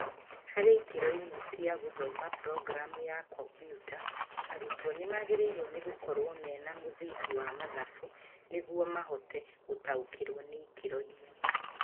harĩ ikĩro imwe cia gũthoma programu ya ko.biuta, arutwo nĩmagĩrĩirwo nĩgũkorwo mena mũthingi wa mathabu nĩguo ahote gũtaũkĩrwo nĩ ikĩro imwe